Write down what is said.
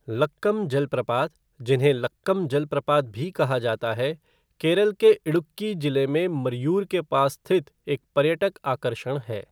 लक्कम जलप्रपात, जिन्हें लक्कम जलप्रपात भी कहा जाता है, केरल के इडुक्की जिले में मरयूर के पास स्थित एक पर्यटक आकर्षण है।